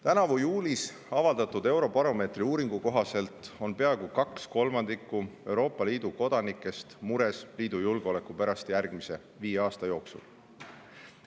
Tänavu juulis avaldatud eurobaromeetri uuringu kohaselt on peaaegu kaks kolmandikku Euroopa Liidu kodanikest mures liidu julgeoleku pärast järgmise viie aasta jooksul.